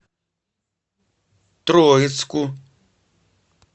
троицку